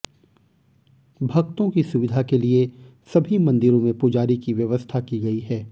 भक्तों की सुविधा के लिए सभी मंदिरों में पुजारी की व्यवस्था की गई है